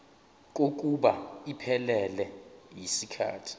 kokuba iphelele yisikhathi